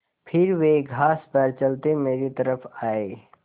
फिर वे घास पर चलते मेरी तरफ़ आये